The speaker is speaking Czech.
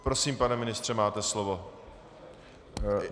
Prosím, pane ministře, máte slovo.